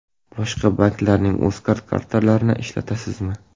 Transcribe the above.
Boshqa banklarning UzCard kartalarini ishlatasizmi?